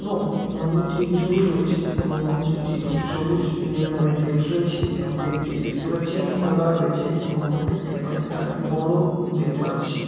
এবং মন্দিরটির চূড়ও রয়েছে এবং মন্দির টির সবুজ নীল রঙের গেট রয়েছে এবং গেট টি দেখতে পাচ্ছি আমি খোলা রয়েছে এবং মন্দিরটি অনেক টাই বড়ো দেখতে পাচ্ছি।